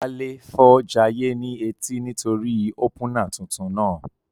Wálé fọ́ jayé ní etí nítorí í ópúnà tuntun náà